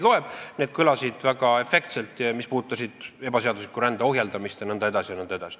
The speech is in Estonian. See kõlas väga efektselt, puudutas ebaseadusliku rände ohjeldamist jne.